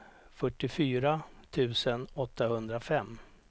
fyrtiofyra tusen åttahundrafem